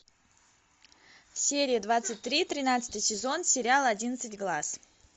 серия двадцать три тринадцатый сезон сериал одиннадцать глаз